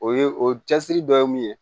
O ye o cɛsiri dɔ ye mun ye